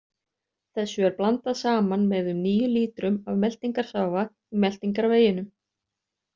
Þessu er blandað saman með um níu lítrum af meltingarsafa í meltingarveginum.